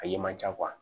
A ye man ca